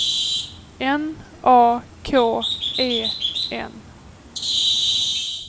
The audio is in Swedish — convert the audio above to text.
N A K E N